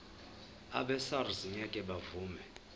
abesars ngeke bavuma